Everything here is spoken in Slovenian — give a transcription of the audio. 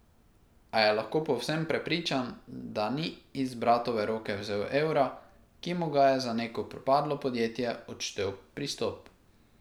A je lahko povsem prepričan, da ni iz bratove roke vzel evra, ki mu ga je za neko propadlo podjetje odštel Pristop.